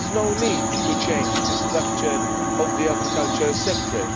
There is no need to change to structure of the agriculture sector.